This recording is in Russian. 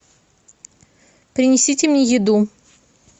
принесите мне еду